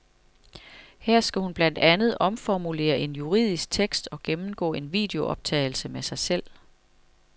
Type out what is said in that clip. Her skal hun blandt andet omformulere en juridisk tekst og gennemgå en videooptagelse med sig selv.